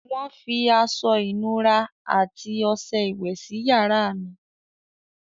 Wọ́n fi aṣọ-ìnura àti ọṣẹ iwẹ̀ sí yàrá mi.